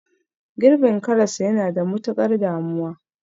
Girbin karas yana da matukar damuwa